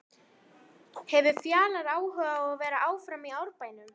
Hefur Fjalar áhuga á að vera áfram í Árbænum?